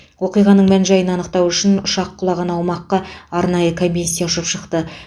оқиғаның мән жайын анықтау үшін ұшақ құлаған аумаққа арнайы комиссия ұшып шықты